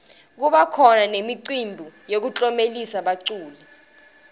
kubakhona nemicimbi yekuklomelisa baculi